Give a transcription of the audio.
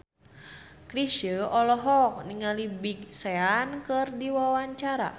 Chrisye olohok ningali Big Sean keur diwawancara